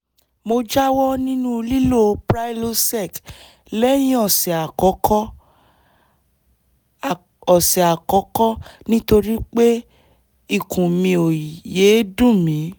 mo jáwọ́ nínú lílo prilosec lẹ́yìn ọ̀sẹ̀ àkọ́kọ́ ọ̀sẹ̀ àkọ́kọ́ nítorí pé ikùn mi ò yéé dùn mí